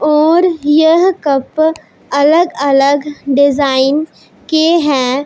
और यह कप अलग अलग डिजाइन के हैं।